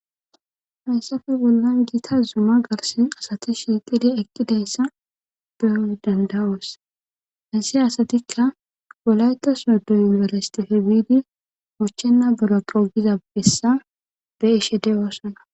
haysafe bollan giita zuma garsen asati shiiqida eqqidayssa beyo dendawoos hassi asatikka golayta sodo yunibersitife biidi uchchenna bola qogizabessa be ishede oossana